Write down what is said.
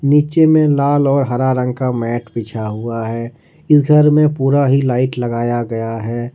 नीचे में लाल और हरा रंग का मैट बिछा हुआ है इस घर में पूरा ही लाइट लगाया गया है।